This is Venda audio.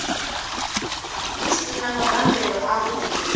hu si na mabambelo avhuḓi